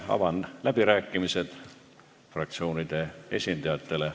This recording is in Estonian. Avan läbirääkimised fraktsioonide esindajatele.